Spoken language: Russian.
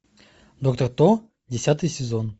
доктор кто десятый сезон